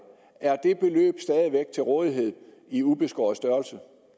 er det beløb stadig væk til rådighed i ubeskåret størrelse